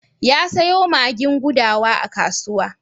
Ya sayo magin gudawa a kasuwa.